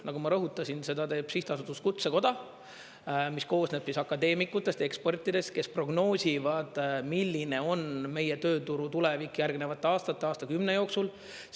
Nagu ma rõhutasin, seda teeb Sihtasutus Kutsekoda, mis koosneb akadeemikutest ja ekspertidest, kes prognoosivad, milline on meie tööturu tulevik järgnevate aastate, aastakümne jooksul.